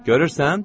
Görürsən?